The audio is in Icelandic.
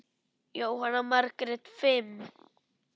Jóhanna Margrét: Fimm?